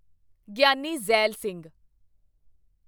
Giani Zail Singh